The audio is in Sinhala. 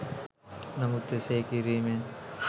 නමුත් එසේ කිරීමෙන්